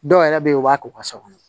Dɔw yɛrɛ bɛ yen u b'a k'u ka so kɔnɔ